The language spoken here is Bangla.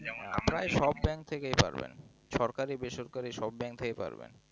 dhakha সব bank থেকে পারবেন সরকারি বেসরকারি সব bank থেকে পাবেন